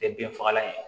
Tɛ bin fagalan ye